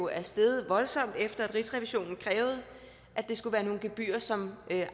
er steget voldsomt efter at rigsrevisionen krævede at det skulle være nogle gebyrer som